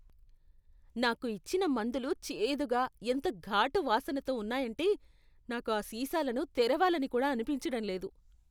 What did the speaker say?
నాకు ఇచ్చిన మందులు చేదుగా, ఎంత ఘాటు వాసనతో ఉన్నాయంటే నాకు ఆ సీసాలను తెరవాలని కూడా అనిపించడం లేదు.